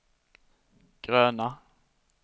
gröna